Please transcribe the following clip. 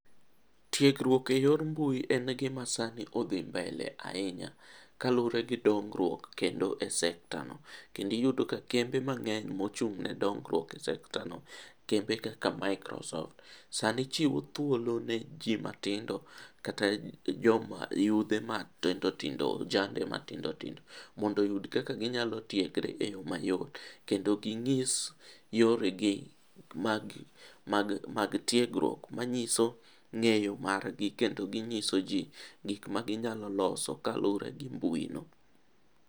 Tiegruok e yor mbui en gima sani odhi mbele ahinya kaluwore gi dongruok kendo e sektano. Kendo iyudo ka kembe mang'eny ma ochung' ne dongruok e sektano, kembe kaka microsoft sani chiwo thuolo ne jii ma tindo, kata joma yudhe matindotindo ,ojande matindotindo mondo oyud kaka ginyalo tiegre e yoo mayot. Yendo ginyis yoregi mag tiegruok manyiso ng'eyo margi kendo ginyiso jii gik ma ginyalo loso kaluwore gi mbuino.